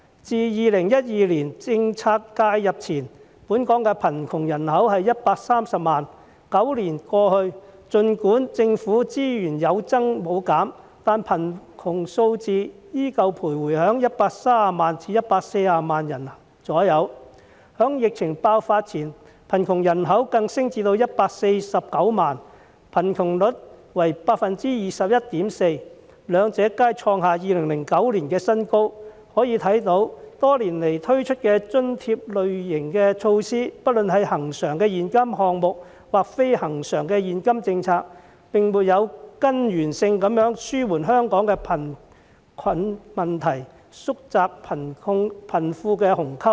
自2012年政策介入前，本港的貧窮人口約為130萬 ，9 年過去，儘管政府資源有增無減，但貧窮數字仍然徘徊在130萬至140萬人左右，在疫情爆發前，貧窮人口更升至149萬人，貧窮率為 21.4%， 兩者皆創下2009年的新高，可見多年來推出的津貼類型的措施，不論是恆常的現金項目或非恆常的現金政策，並沒有根源性地紓緩香港的貧困問題，縮窄貧富的鴻溝。